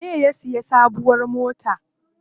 Waye ya siya sabuwar mota?